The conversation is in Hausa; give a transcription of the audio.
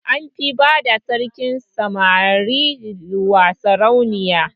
An fi bada sarkin samari wa saurayi